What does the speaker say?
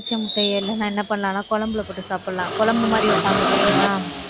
அவிச்ச முட்டையை எல்லாம் என்ன பண்ணலாம்ன்னா குழம்புல போட்டு சாப்பிடலாம். குழம்பு மாதிரி இருக்கும்.